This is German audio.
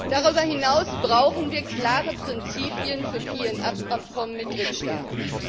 Darüber hinaus brauchen wir klare Prinzipien für PNR Abkommen mit Drittstaaten.